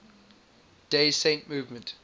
day saint movement